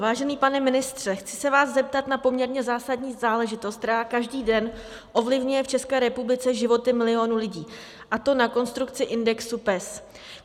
Vážený pane ministře, chci se vás zeptat na poměrně zásadní záležitost, která každý den ovlivňuje v České republice životy milionů lidí, a to na konstrukci indexu PES.